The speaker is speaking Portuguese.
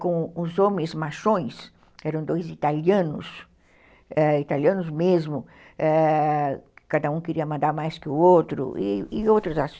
Com os homens machões, eram dois italianos, ãh, italianos mesmo, cada um queria mandar mais que o outro, e outros aspectos.